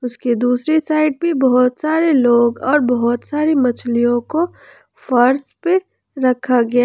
इसके दूसरी साइड भी बहुत सारे लोग और बहुत सारे मछलियों को फर्श पे रखा गया।